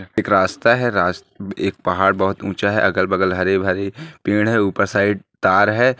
एक रास्ता है एक पहाड़ बहुत ऊंचा है अगल बगल पेड़ है ऊपर साइड तार है।